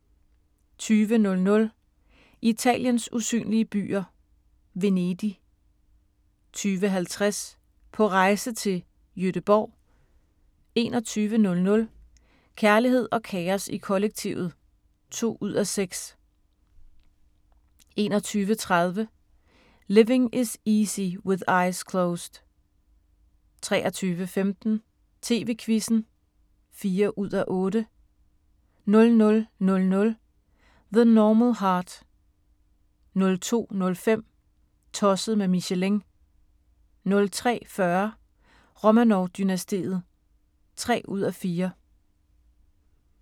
20:00: Italiens usynlige byer – Venedig 20:50: På rejse til: Gøteborg 21:00: Kærlighed og kaos i kollektivet (2:6) 21:30: Living Is Easy with Eyes Closed 23:15: TV-Quizzen (4:8) 00:00: The Normal Heart 02:05: Tosset med Michelin 03:40: Romanov-dynastiet (3:4)